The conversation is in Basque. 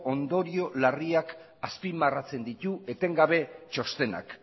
ondorio larriak azpimarratzen ditu etengabe txostenak